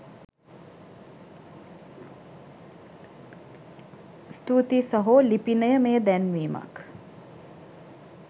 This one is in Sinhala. ස්තුතියි සහෝ ලිපිනය මෙය දැන්වීමක්